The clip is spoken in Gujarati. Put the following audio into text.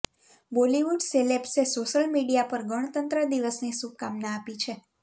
બોલીવુડ સેલેબ્સે સોશિયલ મીડિયા પર ગણતંત્ર દિવસની શુભકાંમના આપી છે